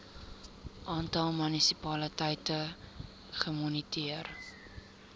aantal munisipaliteite gemoniteer